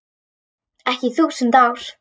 Ekki í þúsund ár.